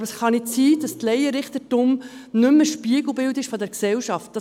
Aber es kann nicht sein, dass das Laienrichtertum nicht mehr Spiegelbild der Gesellschaft ist.